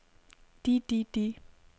de de de